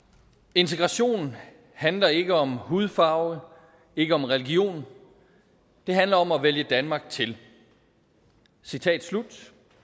integration handler ikke om hudfarve ikke om religion det handler om at vælge danmark til citat slut